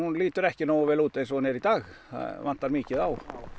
lítur ekki nógu vel út eins og hún er í dag það vantar mikið á